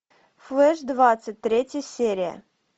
флеш двадцать третья серия